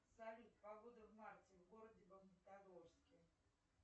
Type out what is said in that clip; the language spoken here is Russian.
салют погода в марте в городе магнитогорске